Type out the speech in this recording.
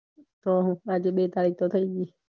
તો હું આજે બે તારીખ તો થય ગય